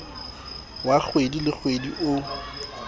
wa kgwedi le kgwedi o